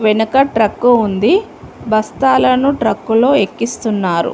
వెనక ట్రక్కు ఉంది బస్తాలను ట్రక్కులో ఎక్కిస్తున్నారు.